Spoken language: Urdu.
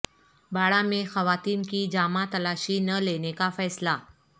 باڑہ میں خواتین کی جامہ تلاشی نہ لینے کا فیصلہ